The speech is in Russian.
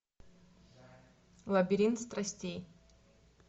лабиринт страстей